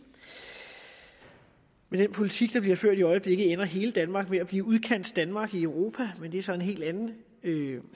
med den politik der bliver ført i øjeblikket ender hele danmark med at blive udkantsdanmark i europa men det er så en helt anden